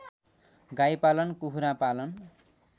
गाईपालन कुखुरा पालन